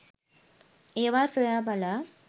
ඒවා සොයා බලා